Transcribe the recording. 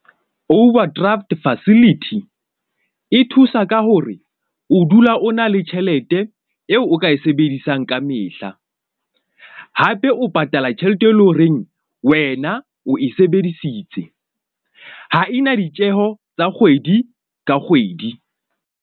Overdraft facility e thusa ka hore o dula o na le tjhelete eo o ka e sebedisang kamehla, hape o patala tjhelete e leng horeng wena o e sebedisitse ha ena ditjeho tsa kgwedi ka kgwedi.